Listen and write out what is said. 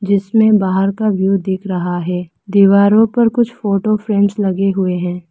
जिसमे बाहर का व्यू दिख रहा है दीवारों पर कुछ फोटो फ्रेम्स लगे हुए हैं।